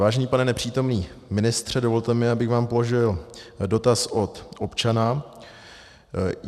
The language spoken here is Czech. Vážený pane nepřítomný ministře, dovolte mi, abych vám položil dotaz od občana.